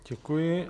Děkuji.